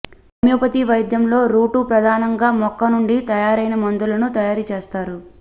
homeopathy వైద్యం లో రూటా ప్రధానంగా మొక్క నుండి తయారైన మందులను తయారీ చేస్తారు